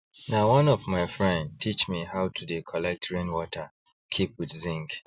na one of my friend teach me how to they collect rain water keep with zinc